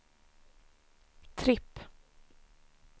tripp